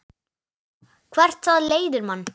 Hvert það leiðir mann.